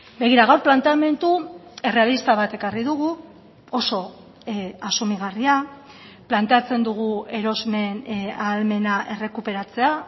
begira gaur planteamendu errealista bat ekarri dugu oso asumigarria planteatzen dugu erosmen ahalmena errekuperatzea